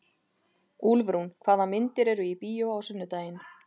Úlfrún, hvaða myndir eru í bíó á sunnudaginn?